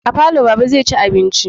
A falo Baba zai ci abinci